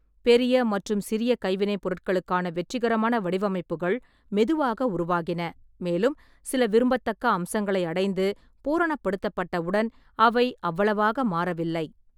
பெரிய மற்றும் சிறிய கைவினைப் பொருட்களுக்கான வெற்றிகரமான வடிவமைப்புகள் மெதுவாக உருவாகின, மேலும் சில விரும்பத்தக்க அம்சங்களை அடைந்து பூரணப்படுத்தப்பட்டவுடன் அவை அவ்வளவாக மாறவில்லை.